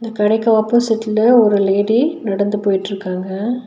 இந்த கடைக்கு ஆப்போசிட்ல ஒரு லேடி நடந்து போயிட்டுருக்காங்க.